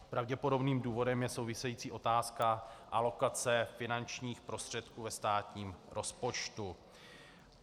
Pravděpodobným důvodem je související otázka alokace finančních prostředků ve státním rozpočtu.